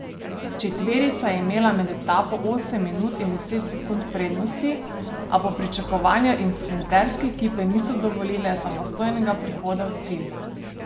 Četverica je imela med etapo osem minut in deset sekund prednosti, a po pričakovanju jim sprinterske ekipe niso dovolile samostojnega prihoda v cilj.